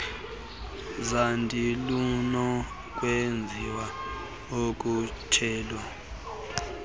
zandi lunokwenziwa ukhutshelo